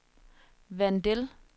Vandel